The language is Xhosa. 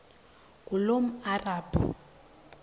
ngulomarabu